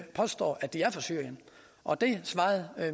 påstår at de er fra syrien og det svarede